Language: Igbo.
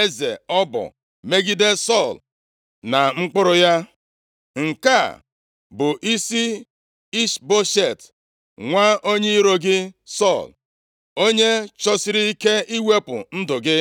eze ọbọ megide Sọl na mkpụrụ ya. Nke a bụ isi Ishboshet, nwa onye iro gị Sọl, onye chọsịrị ike iwepụ ndụ gị.”